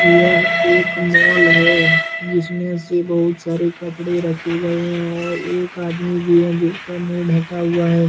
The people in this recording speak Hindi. यह एक मोल है जिसमे से बहुत सारे कपडे रखे गए है और एक आदमी भी है जिसका मुँह ढका हुआ है।